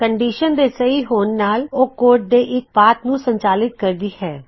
condition ਦੇ ਸਹੀ ਹੋਂਣ ਨਾਲ ਉਹ ਕੋਡ ਦੇ ਇੱਕ ਖੰਡ ਨੂੰ ਸੰਚਾਲਿਤ ਕਰਦੀ ਹੈ